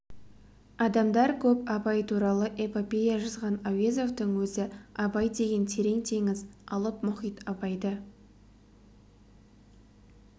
адамдар көп абай туралы эпопея жазған әуезовтің өзі абай деген терең теңіз алып мұхит абайды